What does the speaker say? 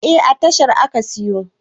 Eh, a tashar aka siyo